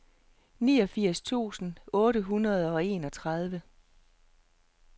niogfirs tusind otte hundrede og enogtredive